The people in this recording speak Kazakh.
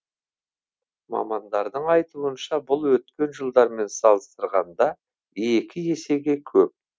мамандардың айтуынша бұл өткен жылдармен салыстырғанда екі есеге көп